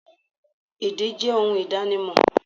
Èdè jẹ ohun ìdánimò